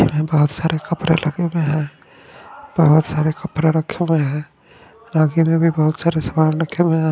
बहत सारा कपड़ा लगे हुए है बहत सारे कपड़ा रखे हुए है में भी बहत सारा सामान रखे हुए है।